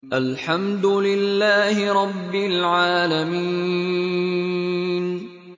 الْحَمْدُ لِلَّهِ رَبِّ الْعَالَمِينَ